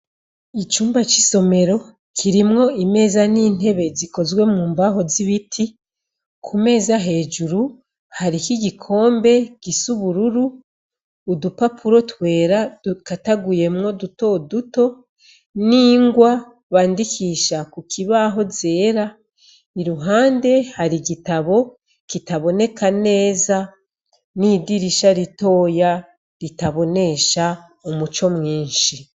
Icumba c'isomero kirimwo imeza n'intebe zikozwe mu mbaho z'ibiti. Ku meza hejuru hariho igikombe gisa ubururu, udupapuro twera dukataguyemwo dutoduto n'ingwa bandikisha ku kibaho zera. Iruhande hari igitabo kitaboneka neza, n'idirisha ritoya ritabonesha umuco mwinshi.